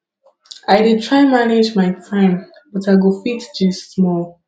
i dey try manage my time but i go fit gist small